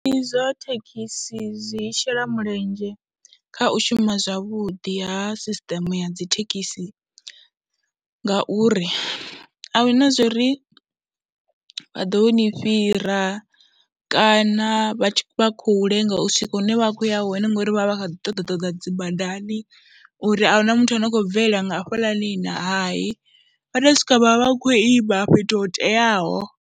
Zwiṱitshi zwa thekhisi zwi shela mulenzhe kha u shuma zwavhuḓi ha sisiṱeme ya dzi thekhisi ngauri a hu na zwo ri vha ḓo ni fhira kana vha tshi, vha khou lenga u swika hune vha khou ya hone ngori vha vha vha kha ḓi ṱoḓa ṱoḓa dzi badani uri a hu na muthu ane a khou bvelela nga hafhaḽani na hayi, vha tou swika vha vha vha khou ima fhethu ho teaho.